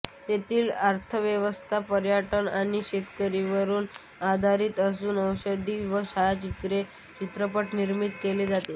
येथील अर्थव्यवस्था पर्यटन आणि शेतीवर आधारित असून औषधी व छायाचित्रण चित्रपट निर्मिती केली जाते